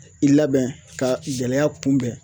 I labɛn ka gɛlɛya kunbɛn